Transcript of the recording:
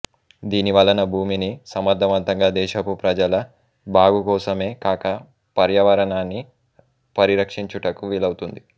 దీనివలన భూమిని సమర్ధవంతంగా దేశపు ప్రజల బాగు కోసమే కాక పర్యావరణాన్ని పరిరక్షించుటకు వీలవుతుంది